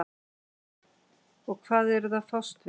og hvað eruð þið að fást við?